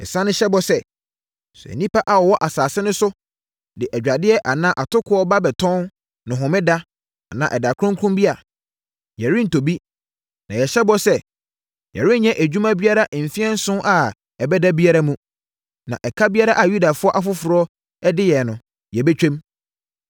“Yɛsane hyɛ bɔ sɛ, sɛ nnipa a wɔwɔ asase no so de adwadeɛ anaa atokoɔ ba bɛtɔn no homeda anaa ɛda kronkron bi a, yɛrentɔ bi. Na yɛhyɛ bɔ sɛ, yɛrenyɛ adwuma biara mfeɛ nson a ɛbɛba biara mu, na ɛka biara a Yudafoɔ afoforɔ bi de yɛn no, yɛbɛtwam.